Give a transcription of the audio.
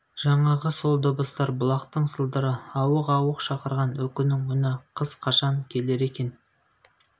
жаңағы сол дыбыстар бұлақтың сылдыры ауық-ауық шақырған үкінің үні қыз қашан келер екен